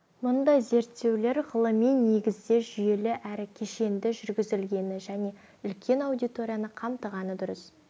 мұндай зерттеулер ғылыми негізде жүйелі әрі кешенді жүргізілгені және үлкен аудиторияны қамтығаны дұрыс